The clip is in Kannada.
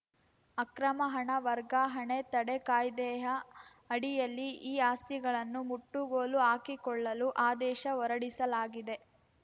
ಅಕ್ರಮ ಹಣ ವರ್ಗಾಹಣೆ ತಡೆ ಕಾಯ್ದೆಯ ಅಡಿಯಲ್ಲಿ ಈ ಆಸ್ತಿಗಳನ್ನು ಮುಟ್ಟುಗೋಲು ಹಾಕಿಕೊಳ್ಳಲು ಆದೇಶ ಹೊರಡಿಸಲಾಗಿದೆ